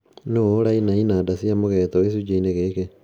Nũũ ũraina inanda cia mũgeeto gĩcunjĩ-inĩ gĩkĩ?